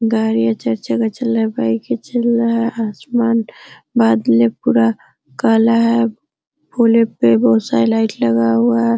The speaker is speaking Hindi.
गाड़ियां चार चक्का चल रहा है बाइके चल रहा है आसमान बादले पूरा काला है पुले पे बहुत सारा लाइट लगा हुआ है।